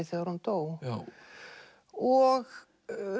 þegar hún dó og